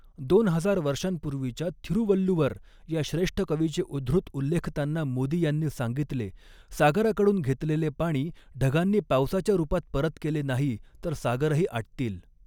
दोन हजार वर्षांपूर्वीच्या थिरुवल्लुवर या श्रेष्ठ कवीचे उद्धृत उल्लेखताना मोदी यांनी सांगितले सागराकडून घेतलेले पाणी ढगांनी पावसाच्या रुपात परत केले नाही तर सागरही आटतील.